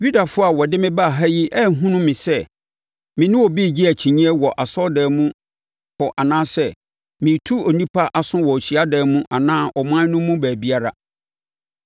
Yudafoɔ a wɔde me baa ha yi anhunu me sɛ me ne obi regye akyinnyeɛ wɔ asɔredan mu hɔ anaasɛ meretu nnipa aso wɔ hyiadan mu anaa ɔman no mu baabiara.